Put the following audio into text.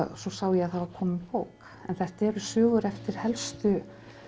svo sá ég að það var komin bók en þetta er sögur eftir helstu